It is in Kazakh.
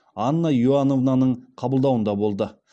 анна иоановнаның қабылдауында болды